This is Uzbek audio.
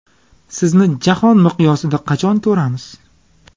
Sizni Jahon miqyosida qachon ko‘ramiz?